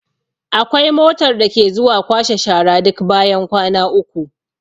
Akwai motar da ke zuwa kwashe shara duk bayan kwana uku.